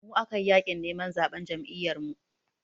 Da mu aka yi yaƙin neman zaɓen Jam'iyyarmu.